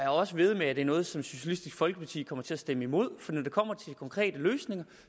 også vædde med at det er noget som socialistisk folkeparti kommer til at stemme imod for når det kommer til konkrete løsninger